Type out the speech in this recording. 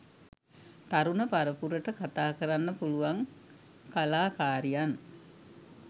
තරුණ පරපුරට කතා කරන්න පුළුවන් කලාකාරියන්